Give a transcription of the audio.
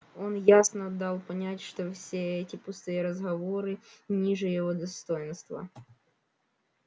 он ясно дал понять что все эти пустые разговоры ниже его достоинства